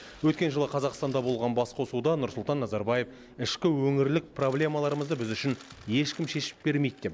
өткен жылы қазақстанда болған басқосуда нұрсұлтан назарбаев ішкі өңірлік проблемаларымызды біз үшін ешкім шешіп бермейді деп